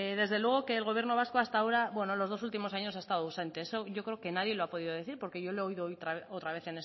desde luego que el gobierno vasco hasta ahora bueno los dos últimos años ha estado ausente eso yo creo que nadie lo ha podido decir porque yo lo he oído hoy otra vez